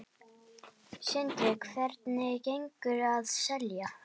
Sindri: Hvernig gengur að selja?